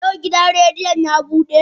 Yau gidan rediyon ya bude?